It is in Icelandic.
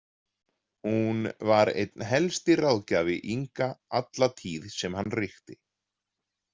Hún var einn helsti ráðgjafi Inga alla tíð sem hann ríkti.